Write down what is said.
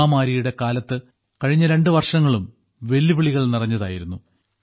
മഹാമാരിയുടെ കാലത്ത് കഴിഞ്ഞ രണ്ടുവർഷങ്ങളും വെല്ലുവിളികൾ നിറഞ്ഞതായിരുന്നു